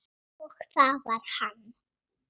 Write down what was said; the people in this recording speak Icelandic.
Og það var hann.